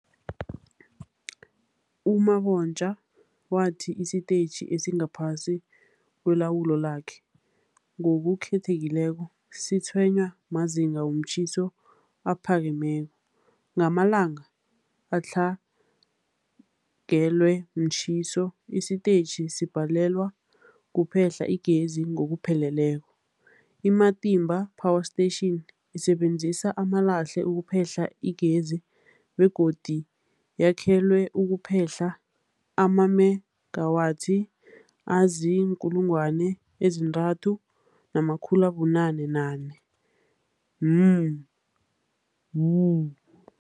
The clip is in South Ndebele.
U-Mabotja wathi isitetjhi esingaphasi kwelawulo lakhe, ngokukhethekileko, sitshwenywa mazinga womtjhiso aphakemeko. Ngamalanga adlangelwe mtjhiso, isitetjhi sibhalelwa kuphehla igezi ngokupheleleko. I-Matimba Power Station isebenzisa amalahle ukuphehla igezi begodu yakhelwe ukuphehla amamegawathi azii-3990 MW.